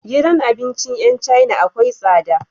Gidan abincin yan china akwai tsada